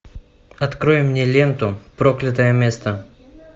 открой мне ленту проклятое место